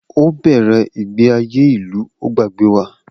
O bẹrẹ igbesi aye ilu o gbagbe wa.